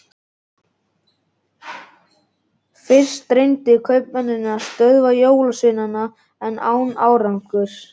Fyrst reyndu kaupmennirnir að stöðva jólasveinana en án árangurs.